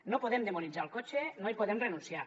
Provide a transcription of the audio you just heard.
no podem demonitzar el cotxe no hi podem renunciar